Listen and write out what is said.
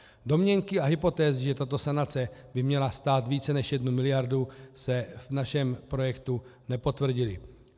Domněnky a hypotézy, že tato sanace by měla stát více než jednu miliardu, se v našem projektu nepotvrdily.